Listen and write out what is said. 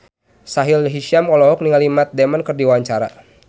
Sahila Hisyam olohok ningali Matt Damon keur diwawancara